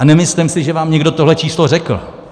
A nemyslím si, že vám někdo tohle číslo řekl.